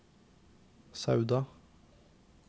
Sauda